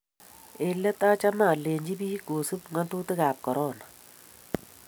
Eng' let achame alechi biik kosup ng'atutik ab Korona